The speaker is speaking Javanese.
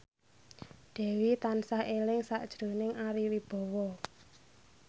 Dewi tansah eling sakjroning Ari Wibowo